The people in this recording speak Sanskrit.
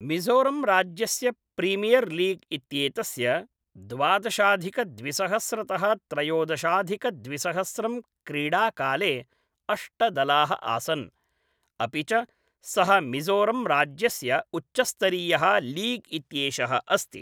मिज़ोरंराज्यस्य प्रीमियर्लीग् इत्येतस्य द्वादशाधिकद्विसहस्रतः त्रयोदशाधिकद्विसहस्रं क्रीडाकाले अष्टदलाः आसन्, अपि च सः मिज़ोरंराज्यस्य उच्चस्तरीयः लीग् इत्येषः अस्ति।